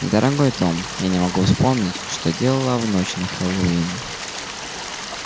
дорогой том я не могу вспомнить что делала в ночь на хэллоуин